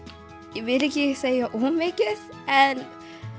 ég vil ekki segja of mikið en